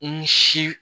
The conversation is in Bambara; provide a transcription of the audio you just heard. I ni si